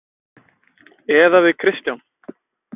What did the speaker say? Eða við Kristján.